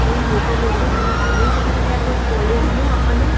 અહિયા મૂકેલુ છે અને આપડે જોઈ શકીએ છે કે આ કોઈ કૉલેજ નુ આપણને--